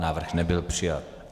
Návrh nebyl přijat.